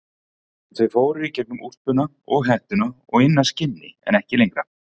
Þau fóru í gegnum úlpuna og hettuna og inn að skinni en ekki lengra.